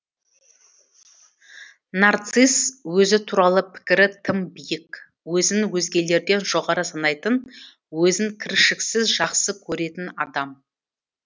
нарцисс өзі туралы пікірі тым биік өзін өзгелерден жоғары санайтын өзін кіршіксіз жақсы көретін адам